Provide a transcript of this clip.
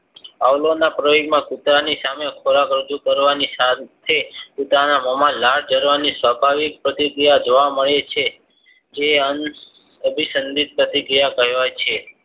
આવળાવના પ્રયોગમાં કૂતરાની સામે ખોરાક રજુ કરવાની સાથે કુતરાના મોમાં લાલ જરવાની સ્વાભાવિક પ્રતિક્રિયા જોવા મળે છે જે અનાભિસંદિત પ્રતિક્રિયા કહેવાય છે